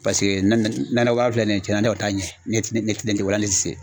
Paseke nakɔbaara filɛ nin ye tiɲɛna ne kɔni t'a ɲɛ ne ti se.